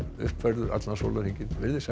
uppfærður allan sólarhringinn verið sæl